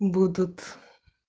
будут